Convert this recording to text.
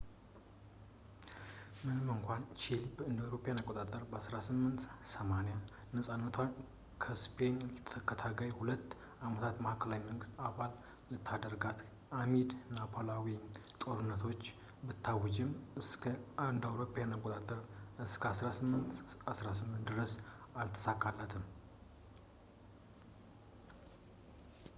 ምንም እንኳን ቺሊ እ.ኤ.አ. በ 1810 ነፃነቷን ስፔንን ለተከታታይ ሁለት ዓመታት ማዕከላዊ መንግስት አልባ ላደረጋት አሚድ የናፖሊናዊያን ጦርነቶች ብታውጅም እስከ እ.ኤ.አ እስከ 1818 ድረስ አልተሳካለትም ፡፡